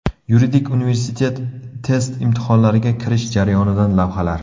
Yuridik universitet test imtihonlariga kirish jarayonidan lavhalar.